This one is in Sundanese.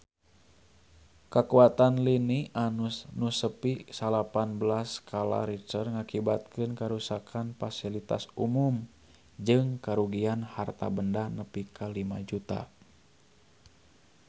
Kakuatan lini nu nepi salapan belas skala Richter ngakibatkeun karuksakan pasilitas umum jeung karugian harta banda nepi ka 5 juta rupiah